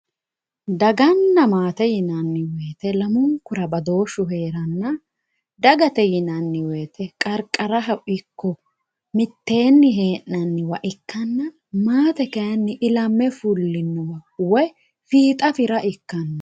Daggana maate yinani woyite lamunkura badooshu heerana dagate yinani woyite qarqaraho iko miteeni henaniwa ikkana maate kayini ilame fulinoha woyi fiixa fira ikano